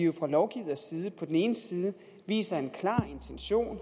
vi fra lovgivers side viser en klar intention og